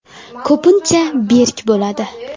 Ko‘pincha berk bo‘ladi.